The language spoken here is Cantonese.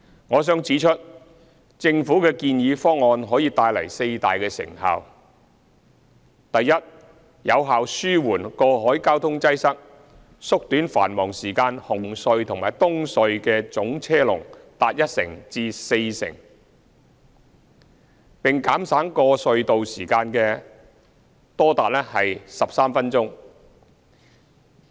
我想指出，政府的建議方案可帶來四大成效：第一，有效紓緩過海交通擠塞，縮短繁忙時間海底隧道和東區海底隧道的總車龍達一成至四成，並減省過隧道時間多達13分鐘。